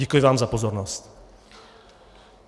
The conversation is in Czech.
Děkuji vám za pozornost.